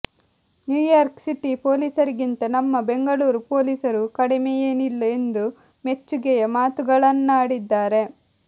New York city ಪೊಲೀಸರಿಗಿಂತ ನಮ್ಮ ಬೆಂಗಳೂರು ಪೊಲೀಸರು ಕಡಿಮೆಯೇನಿಲ್ಲ ಎಂದು ಮೆಚ್ಚುಗೆಯ ಮಾತುಗಳನ್ನಾಡಿದ್ದಾರೆ